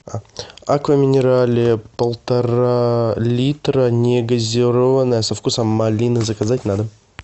аква минерале полтора литра негазированная со вкусом малины заказать на дом